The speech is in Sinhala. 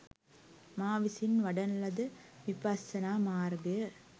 මා විසින් වඩන ලද විපස්සනා මාර්ගය